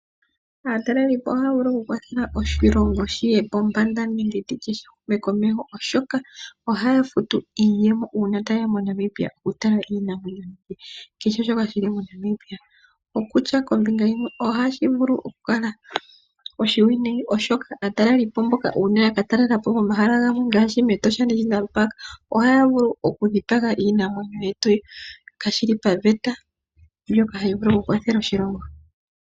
Aataleli po ohaya vulu okukwatha oshilongo shiye pombanda nenge tutye shihume komeho oshoka, ohaya futu iiyemo uuna tayeya moNamibia okutala iinamwenyo na kesheshoka shili moNamibia. Okutya kombinga yimwe ohashi vulu okukala oshiwinayi oshoka aataleli po mboka uuna yakatalela po momahala gamwe ngaashi mEtosha National Park ohaya vulu okudhipaga iinamwenyo yetu kashili paveta mbyoka hayi vulu okukwathela oshilongo.